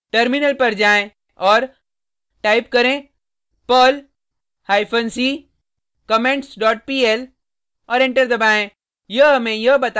terminal पर जाएँ और टाइप करें perl hyphen c comments dot pl और एंटर दबाएँ